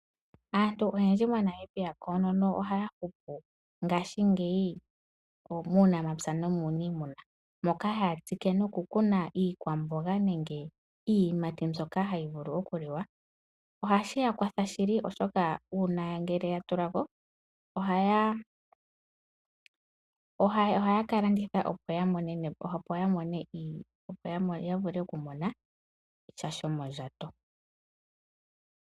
Aantu oyendji mo Namibia koonono oya hupu ngaashingeyi muunamapya no muuniimuna moka haya tsike noku kuna iikamboga nenge iiyimati mbyoka hayi vulu oku liwa. Ohashi ya kwatha shili oshoka uuna ngele ya tula ko ohaya kalanditha opo ya vule oku mona sha shomo ndjato.